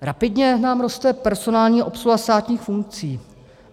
Rapidně nám roste personální obsluha státních funkcí.